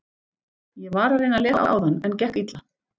Ég var að reyna að lesa áðan, en gekk illa.